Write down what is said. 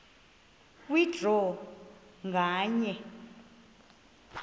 kwe draw nganye